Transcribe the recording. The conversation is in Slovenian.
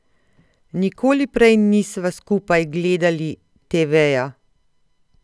Nikoli prej nisva skupaj gledali teveja.